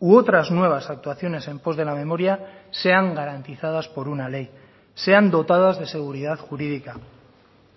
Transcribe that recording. u otras nuevas actuaciones en pos de la memoria sean garantizadas por una ley sean dotadas de seguridad jurídica